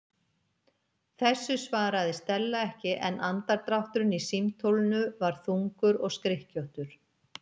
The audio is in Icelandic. Þessu svaraði Stella ekki en andardrátturinn í símtólinu var þungur og skrykkjóttur.